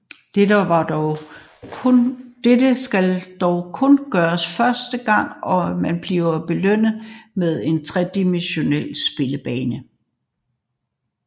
Dette skal dog kun gøres første gang og man bliver belønnet med en tredimensional spillebane